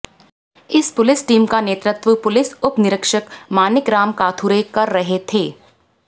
इस police team का नेतृत्व पुलिस उप निरीक्षक मानिकराव काथुरे कर रहे थे